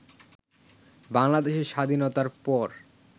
বাংলাদেশের স্বাধীনতার পর